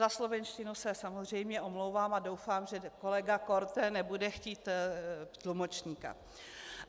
- Za slovenštinu se samozřejmě omlouvám a doufám, že kolega Korte nebude chtít tlumočníka.